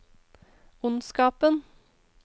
ondskapen